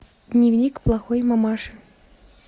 дневник плохой мамаши